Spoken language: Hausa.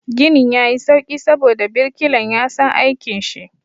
Ginin ya yi sauƙi saboda birkilan ya san aikin shi.